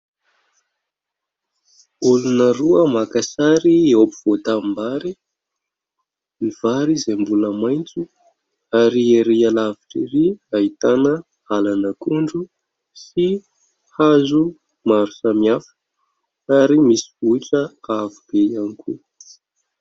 Olona roa maka sary eo ampovoan-tanimbary, ny vary izay mbola maitso, ary ery alavitra ery ahitana alan'akondro sy hazo maro samihafa ary misy vohitra avo be ihany koa.